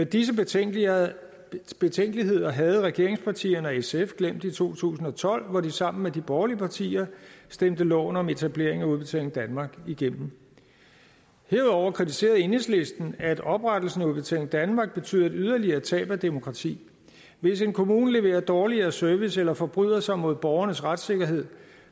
disse betænkeligheder betænkeligheder havde regeringspartierne og sf glemt i to tusind og tolv hvor de sammen med de borgerlige partier stemte loven om etablering af udbetaling danmark igennem herudover kritiserede enhedslisten at oprettelsen af udbetaling danmark betød et yderligere tab af demokrati hvis en kommune leverer dårligere service eller forbryder sig mod borgernes retssikkerhed